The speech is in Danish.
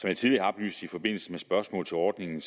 jeg tidligere har oplyst i forbindelse med spørgsmål til ordningen